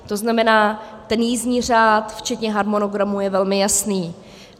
To znamená, ten jízdní řád včetně harmonogramu je velmi jasný.